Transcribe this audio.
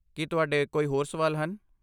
ਕੀ ਤੁਹਾਡੇ ਕੋਈ ਹੋਰ ਸਵਾਲ ਹਨ?